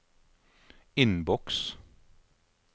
innboks